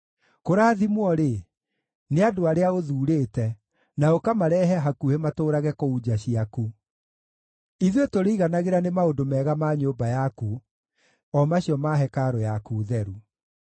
Kũrathimwo-rĩ, nĩ andũ arĩa ũthuurĩte, na ũkamarehe hakuhĩ matũũrage kũu nja ciaku! Ithuĩ tũrĩiganagĩra nĩ maũndũ mega ma nyũmba yaku, o macio ma hekarũ yaku theru.